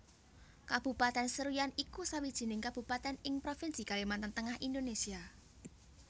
Kabupatèn Seruyan iku sawijining kabupatèn ing Provinsi Kalimantan Tengah Indonésia